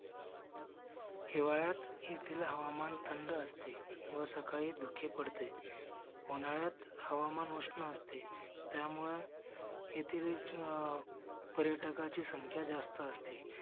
हिवाळ्यात येतील हवामान थंड असते व सकाळी धुके पडते. उन्हाळ्यात हवामान उष्ण असते. त्यामुळे येथील पर्यटकांची संख्या जास्त असते.